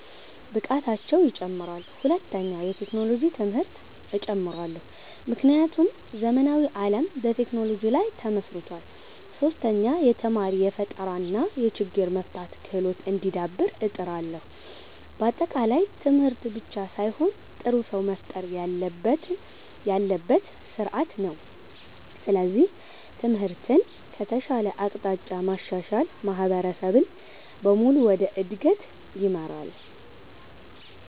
ብቃታቸው ይጨምራል። ሁለተኛ፣ የቴክኖሎጂ ትምህርት እጨምራለሁ፣ ምክንያቱም ዘመናዊ ዓለም በቴክኖሎጂ ላይ ተመስርቷል። ሶስተኛ፣ የተማሪ ፈጠራ እና የችግር መፍታት ክህሎት እንዲዳብር እጥራለሁ። በአጠቃላይ ትምህርት ብቻ ሳይሆን ጥሩ ሰው መፍጠር ያለበት ስርዓት ነው። ስለዚህ ትምህርትን ከተሻለ አቅጣጫ ማሻሻል ማህበረሰብን በሙሉ ወደ እድገት ይመራል።